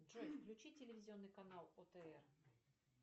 джой включи телевизионный канал отр